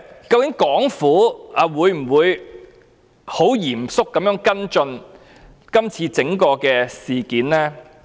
究竟香港政府會否嚴肅跟進今次沙中線的整個事件？